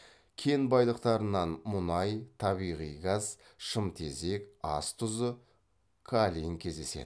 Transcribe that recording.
кен байлықтарынан мұнай табиғи газ шымтезек ас тұзы каолин кездеседі